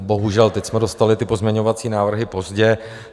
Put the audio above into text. Bohužel, teď jsme dostali ty pozměňovací návrhy pozdě.